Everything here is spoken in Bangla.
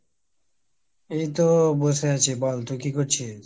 এইতো বসে আছি। বল তুই কী করছিস?